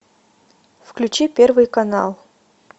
включи первый канал